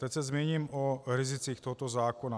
Teď se zmíním o rizicích tohoto zákona.